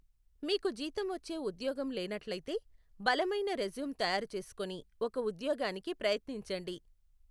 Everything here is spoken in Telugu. మీకు జీతం వచ్చే ఉద్యోగం లేనట్లయితే, బలమైన రెజ్యూం తయారుచేసుకొని, ఒక ఉద్యోగానికి ప్రయత్నించండి.